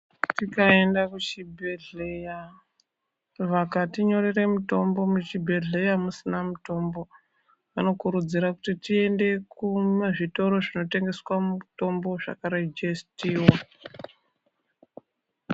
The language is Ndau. Tikaenda kuchibhedhlera vakati nyorera mutombo muchibhohlera musina mitombo vanokurudzirwa kuti tiende kuzvitoro zvinotengeswa mitombo zvakarejestiwa.